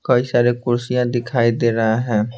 कई सारे कुर्सियां दिखाई दे रहा है।